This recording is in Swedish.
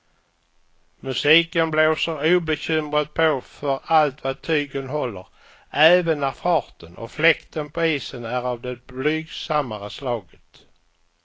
Musiken blåser obekymrat på för allt vad tygen håller, även när farten och fläkten på isen är av det blygsammare slaget.